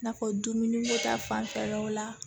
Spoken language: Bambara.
N'a fɔ dumuniko ta fanfɛlaw la